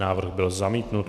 Návrh byl zamítnut.